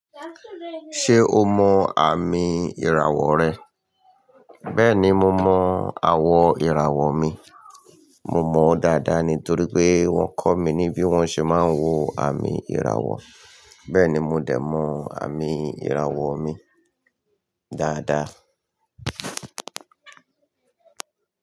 Ṣé o mọ ààmì ìràwọ̀ rẹ? Bẹ́ẹ̀ni, mo mọ àwọ̀ ìràwọ̀ mi. Mo mọ̀ ọ́ dáadáa ni torí pé wọ́n kọ́ mi ní bí wọ́n ṣe máa ń wo àmì ìràwọ̀. Bẹ́ẹ̀ ni, mo dẹ̀ mọ àmì ìràwọ̀ mi dáadáa.